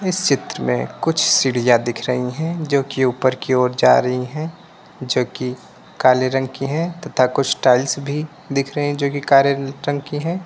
इस चित्र में कुछ सीढ़ियाँ दिख रही हैं जोकि ऊपर की ओर जा रही हैं जोकि काले रंग की हैं तथा कुछ टाइल्स भी दिख रहे हैं जोकि कारे रंग की हैं।